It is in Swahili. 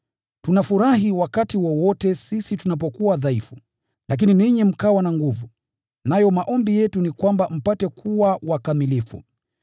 Tunafurahi wakati wowote sisi tunapokuwa dhaifu, lakini ninyi mkawa na nguvu. Nayo maombi yetu ni kwamba mpate kuwa wakamilifu.